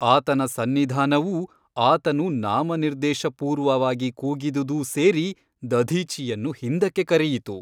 ಆತನ ಸನ್ನಿಧಾನವೂ ಆತನು ನಾಮನಿರ್ದೇಶ ಪೂರ್ವವಾಗಿ ಕೂಗಿದುದೂ ಸೇರಿ ದಧೀಚಿಯನ್ನು ಹಿಂದಕ್ಕೆ ಕರೆಯಿತು.